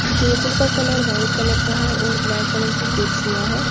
Table का colour white colour का है और ब्लैक कलर की कुर्सियां है।